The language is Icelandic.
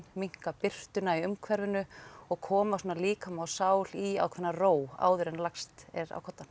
minnka birtuna í umhverfinu og koma svona líkama og sál í ákveðna ró áður en lagst er á koddann